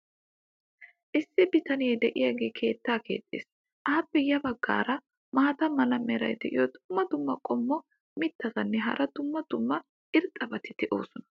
issi bitanee diyaagee keettaa keexxees. appe ya bagaara maata mala meray diyo dumma dumma qommo mitattinne hara dumma dumma irxxabati de'oosona.